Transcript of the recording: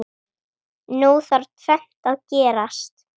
Nú þarf tvennt að gerast.